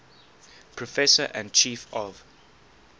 professor and chief of